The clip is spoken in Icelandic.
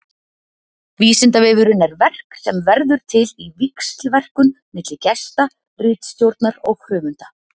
Vísindavefurinn er verk sem verður til í víxlverkun milli gesta, ritstjórnar og höfunda.